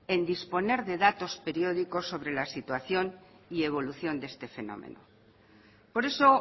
en disponer de datos periódicos sobre la situación y evolución de este fenómeno por eso